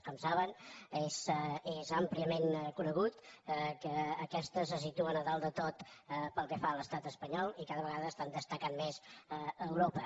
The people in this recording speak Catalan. com saben és àmpliament conegut que aquestes se situen a dalt de tot pel que fa a l’estat espanyol i cada vegada estan destacant més a europa